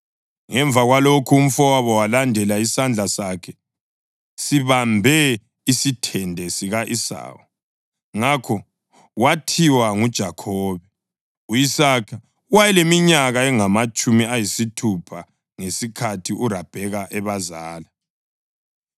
Ngemva kwalokhu, umfowabo walandela, isandla sakhe sibambe isithende sika-Esawu; ngakho wathiwa nguJakhobe. U-Isaka wayeleminyaka engamatshumi ayisithupha ngesikhathi uRabheka ebazala.